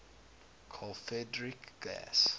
carl friedrich gauss